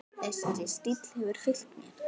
Þessi stíll hefur fylgt mér.